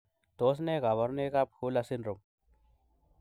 Tos nee koborunoikab Hurler syndrome?